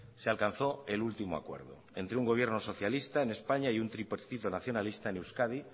se alcanzó el último acuerdo entre un gobierno socialista en españa y un tripartito nacionalista en euskadi